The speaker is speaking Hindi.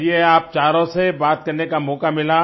चलिए आप चारों से बात करने का मौका मिला